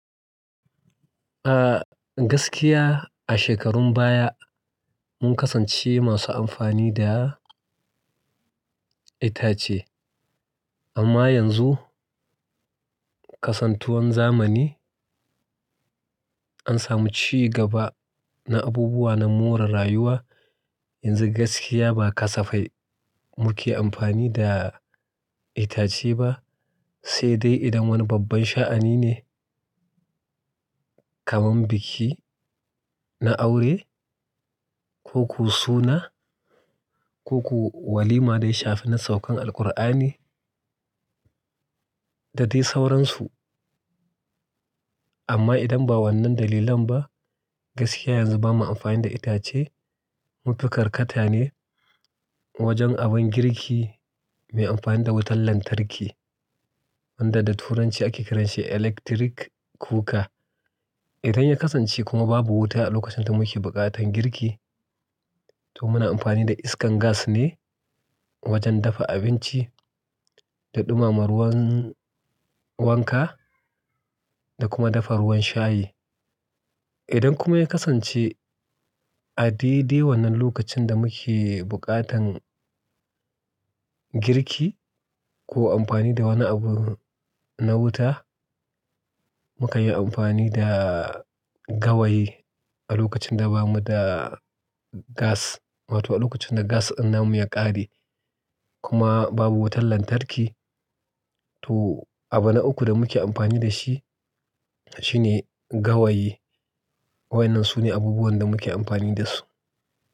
A gaskiya a shekarun baya mun kasance masu amfani da itace amma yanzu kasantuwan zamani an samu ci gaba na abubuwa na more rayuwa. Yanzu gaskiya ba kasafai muke amfani da itace ba, sai dai idan wani babban sha'ani ne kamar biki na aure ko ko suna ko ko walima daya shafi na saukan Alkur'ani da dai sauransu. Amma idan ba wannan dalilan ba, gaskiya yanzu ba mu amfani da itace. Mufi karkata ne wajen abin girki mai amfani da wutar lantarki wanda da Turanci ake kiranshi electric cooker. Idan ya kasance kuma babu wuta a lokacin da muke buƙatan girki to muna amfani da iskar gas ne wajen dafa abinci da ɗumama ruwan wanka da kuma dafa ruwan shayi. Idan kuma ya kasance a dai dai wannan lokacin da muke buƙatan girki ko amfani da wani abu na wuta mukan yi amfani da gawayi a lokacin da bamu da gas wato a lokacin da gas ɗin namu ya ƙare kuma babu wutar lantarki to abu na uku da muke amfani da shi shine gawayi. Waɗannan su ne abubuwan da muke amfani da su.